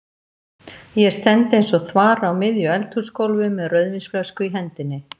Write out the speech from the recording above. Ég stend eins og þvara á miðju eldhúsgólfi með rauðvínsflösku í hendinni.